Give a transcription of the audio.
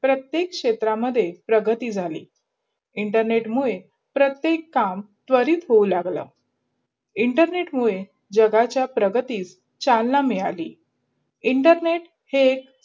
प्रतक क्षेत्रामध्ये आपली प्रगती झाली. internet मुडे प्रत्येक काम त्वरित होऊ लागला. internet मुडे जगाचा प्रगती चढणा मिद्ध्लि. internet हे एक